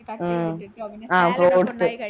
ആഹ് fruits